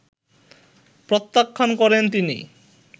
প্রত্যাখ্যান করেন তিনি